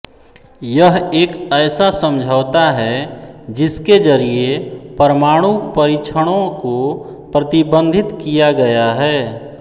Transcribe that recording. यह एक ऐसा समझौता है जिसके जरिए परमाणु परीक्षणों को प्रतिबंधित किया गया है